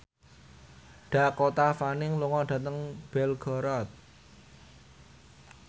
Dakota Fanning lunga dhateng Belgorod